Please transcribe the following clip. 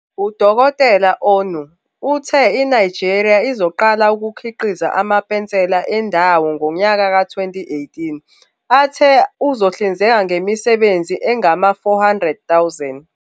UDkt Onu uthe iNigeria izoqala ukukhiqiza amapensela endawo ngonyaka ka-2018 athe uzohlinzeka ngemisebenzi engama-400,000.